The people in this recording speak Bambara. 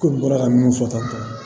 Ko n bɔra ka minnu fɔ tan tɔ